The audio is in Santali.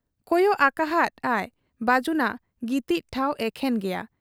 ᱠᱚᱭᱚᱜ ᱟᱠᱟᱦᱟᱫ ᱟᱭ ᱵᱟᱹᱡᱩᱱᱟᱜ ᱜᱤᱛᱤᱡ ᱴᱷᱟᱶ, ᱮᱠᱷᱮᱱ ᱜᱮᱭᱟ ᱾